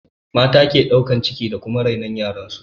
Mata ke ɗaukan ciki da kuma rainon yaran su